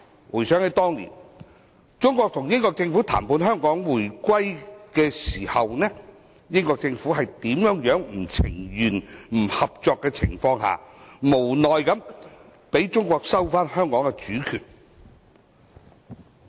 回想當年，中國與英國政府就香港回歸進行談判的時候，英國政府在不情願、不合作的情況下，無奈地讓中國收回香港主權。